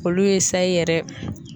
Olu ye sayi yɛrɛ